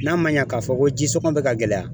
N'a ma ɲɛ k'a fɔ ko jisɔngɔ bɛ ka gɛlɛya